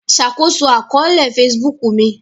Ṣakoso akọọlẹ Facebook mi